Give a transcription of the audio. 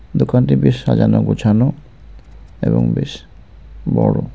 দোকানটি বেশ সাজানো গোছানো এবং বেশ বড়ো.